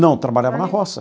Não, trabalhava na roça.